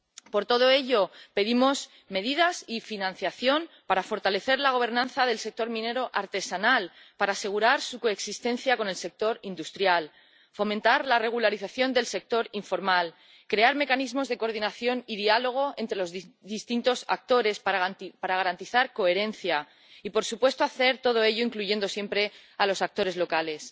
Por todo ello, pedimos medidas y financiación para fortalecer la gobernanza del sector minero artesanal, para asegurar su coexistencia con el sector industrial, fomentar la regularización del sector informal, crear mecanismos de coordinación y diálogo entre los distintos actores para garantizar la coherencia, y, por supuesto, hacer todo ello incluyendo siempre a los actores locales.